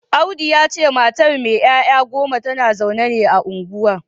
Audu ya ce matar mai ‘ya’ya goma tana zaune ne a unguwar